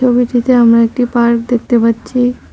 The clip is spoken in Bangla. ছবিটিতে আমরা একটি পার্ক দেখতে পাচ্ছি।